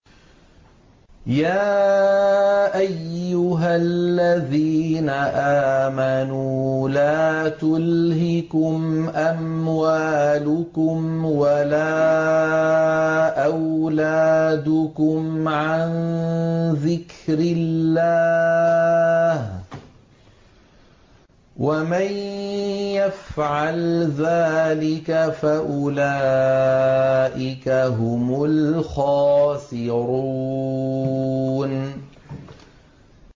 يَا أَيُّهَا الَّذِينَ آمَنُوا لَا تُلْهِكُمْ أَمْوَالُكُمْ وَلَا أَوْلَادُكُمْ عَن ذِكْرِ اللَّهِ ۚ وَمَن يَفْعَلْ ذَٰلِكَ فَأُولَٰئِكَ هُمُ الْخَاسِرُونَ